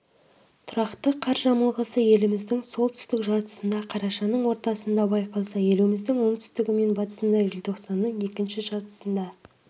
тұрақты қар жамылғысы еліміздің солтүстік жартысында қарашаның ортасында байқалса еліміздің оңтүстігі мен батысында желтоқсанның екінші жартысында